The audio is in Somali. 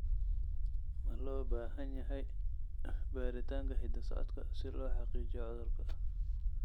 Ma loo baahan yahay baaritaanka hidda-socodka si loo xaqiijiyo cudurka?